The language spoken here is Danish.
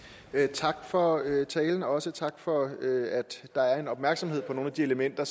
tak for talen og også tak for at der er en opmærksomhed på nogle af de elementer